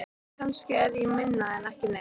Kannski er ég minna en ekki neitt.